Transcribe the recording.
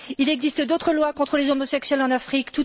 Il existe d'autres lois contre les homosexuels en Afrique.